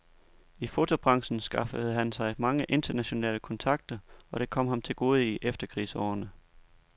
I fotobranchen skaffede han sig mange internationale kontakter, og det kom ham til gode i efterkrigsårene.